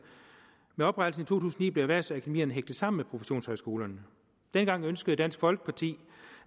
med oprettelsen tusind og ni blev erhvervsakademierne hægtet sammen med professionshøjskolerne dengang ønskede dansk folkeparti